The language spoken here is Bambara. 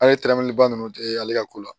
An ye tɛrɛmɛliba ninnu tɛ ale ka ko la